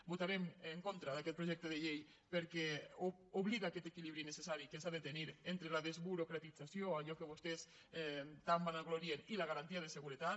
votarem en contra d’aquest projecte de llei perquè oblida aquest equilibri necessari que s’ha de tenir entre la desburocratització d’allò que vostès tant es vanaglorien i la garantia de seguretat